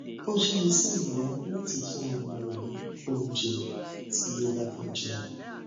o je ise iya lati fun omo re ni ounje ti obafe jeun